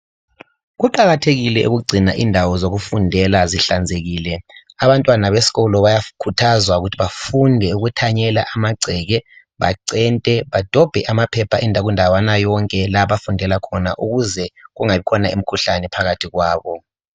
Kuqakathekile ukugcina indawo zokufunda zihlanzekile, abantwana besikolo bayakhuthazwa ukuthi bafunde ukuthanyela amagceke bacente badobhe amaphepha kundawana yonke la abafundela khona ukuze kungabi lemikhuhlane phakathi kwabo.